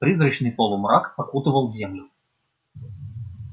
призрачный полумрак окутывал землю